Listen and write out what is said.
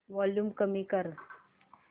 volume कमी कर